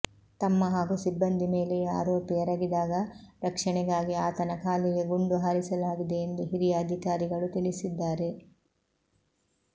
ತಮ್ಮ ಹಾಗೂ ಸಿಬ್ಬಂದಿ ಮೇಲೆಯೇ ಆರೋಪಿ ಎರಗಿದಾಗ ರಕ್ಷಣೆಗಾಗಿ ಆತನ ಕಾಲಿಗೆ ಗುಂಡು ಹಾರಿಸಲಾಗಿದೆ ಎಂದು ಹಿರಿಯ ಅಧಿಕಾರಿಗಳು ತಿಳಿಸಿದ್ದಾರೆ